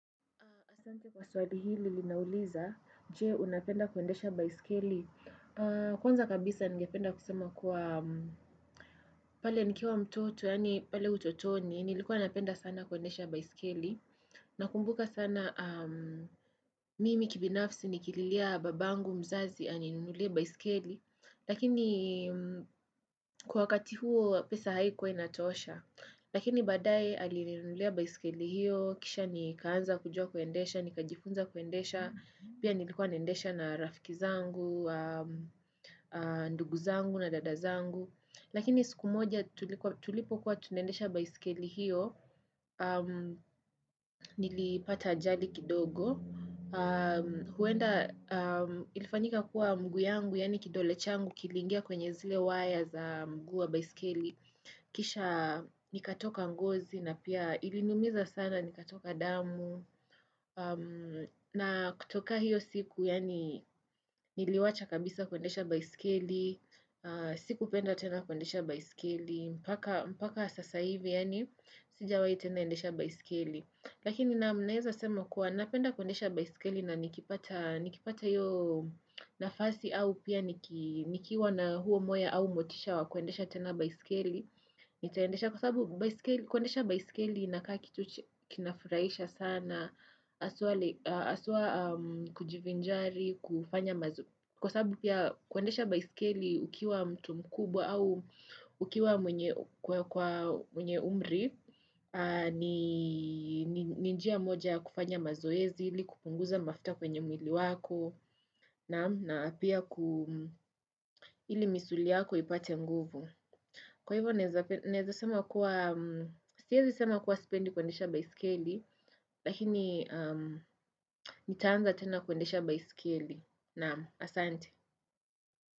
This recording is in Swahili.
Asante kwa swali hili linauliza, je unapenda kuendesha baiskeli. Kwanza kabisa ningependa kusema kuwa pale nikiwa mtoto, yaani pale utotoni, nilikuwa unapenda sana kuendesha baisikeli. Nakumbuka sana, mimi kibinafsi nikililia babangu mzazi aninunulie baisikeli. Lakini kwa wakati huo pesa haikuwa inatosha. Lakini badae alilinulia baisikeli hiyo, kisha nikaanza kujua kuendesha, nikajifunza kuendesha, pia nilikuwa naendesha na rafiki zangu, ndugu zangu na dada zangu. Lakini siku moja tulipokuwa tunaendesha baiskeli hiyo, nilipata ajali kidogo. Huenda ilifanyika kuwa mguu yangu, yaani kidole changu, kiliingia kwenye zile waya za mguu wa baisikeli. Kisha nikatoka ngozi na pia iliniumiza sana nikatoka damu. Na kutoka hiyo siku, yaani niliwacha kabisa kuendesha baisikeli. Sik penda tena kuendesha baiskeli. Mpaka sasa hivi, yani sijawahi tena endesha baiskeli. Lakini naam naeza sema kuwa napenda kundesha baiskeli na nikipata hiyo nafasi au pia nikiwa na huo moyo au motisha wa kundesha tena baiskeli. Nitaendesha kwa sababu kuendesha baiskeli inakaa kitu kinafurahisha sana, haswa kujivinjari, kufanya mazoezi. Kwa sababu pia kuendesha baiskeli ukiwa mtu mkubwa au ukiwa mwenye umri, ni njia moja ya kufanya mazoezi ili, kupunguza mafuta kwenye mwili wako, na pia ili misuli yako ipate nguvu. Kwa hivyo, naeza sema kuwa, siezi sema kuwa sipendi kuendesha baiskeli, lakini nitaanza tena kuendesha baiskeli. Naam, asante.